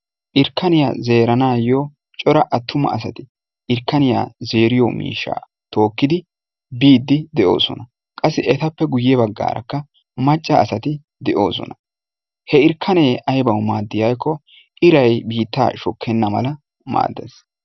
Irkkaniya zeeranawu cora attuma asati irkkaniya zeeriyo miishshaa tookkidi biiddi de"oosona. Qassi etappe guyye baggaarakka macca asati de"oosona. He irkkanee aybawu maaddii giikkoo irayi biittaa shokkenna mala maaddes.